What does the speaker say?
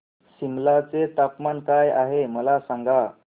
सिमला चे तापमान काय आहे मला सांगा